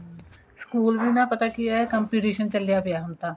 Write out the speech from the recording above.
school ਵੀ ਨਾ ਪਤਾ ਕੀ ਏ competition ਚੱਲਿਆ ਪਿਆ ਹੁਣ ਤਾਂ